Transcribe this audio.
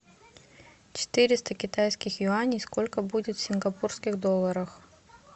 четыреста китайских юаней сколько будет в сингапурских долларах